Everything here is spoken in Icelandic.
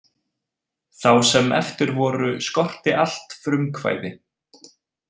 Þá sem eftir voru skorti allt frumkvæði.